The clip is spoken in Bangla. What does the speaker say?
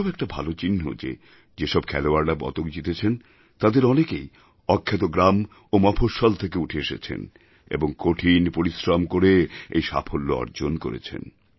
এটাও একটা ভালো চিহ্ন যে যে সব খেলোয়াড়রা পদক জিতেছেন তাঁদের অনেকেই অখ্যাত গ্রাম ও মফঃস্বল থেকে উঠে এসেছেন এবং কঠিন পরিশ্রম করে এই সাফল্যঅর্জন করেছেন